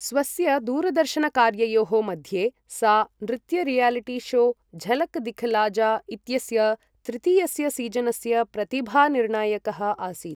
स्वस्य दूरदर्शनकार्ययोः मध्ये सा नृत्यरियलिटी शो झलक दिखला जा इत्यस्य तृतीयस्य सीजनस्य प्रतिभानिर्णायकः आसीत् ।